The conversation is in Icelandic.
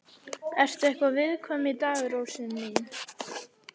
Ertu eitthvað viðkvæm í dag, rósin mín?